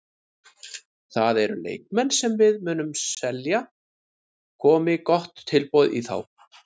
Það eru leikmenn sem við munum selja komi gott tilboð í þá.